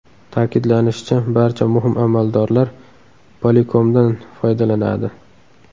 Ta’kidlanishicha, barcha muhim amaldorlar Polycom’dan foydalanadi.